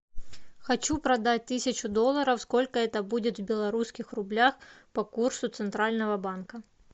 хочу продать тысячу долларов сколько это будет в белорусских рублях по курсу центрального банка